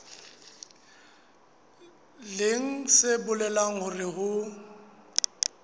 leng se bolelang hore ho